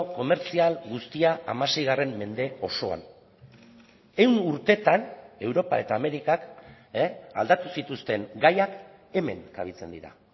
komertzial guztia hamasei mende osoan ehun urtetan europa eta amerikak aldatu zituzten gaiak hemen kabitzen dira